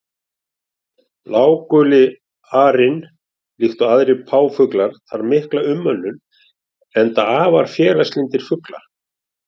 Bláguli arinn líkt og aðrir páfagaukar þarf mikla umönnun, enda afar félagslyndir fuglar.